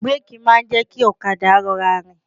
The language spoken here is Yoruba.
Bíréèkì máa ń jẹ́ kí ọ̀kadà rọra rìn.